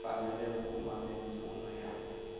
mfanelo yo kuma mimpfuno ya